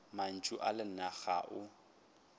mantšu a lena ga o